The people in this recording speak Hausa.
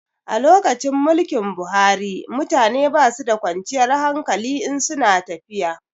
A lokacin mulkin Buhari mutane basu da kwanciyar hankali in su na tafiya